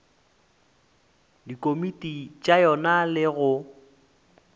dikomiti tša yona le go